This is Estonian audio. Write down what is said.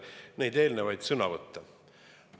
Ma pean silmas neid eelnevaid sõnavõtte.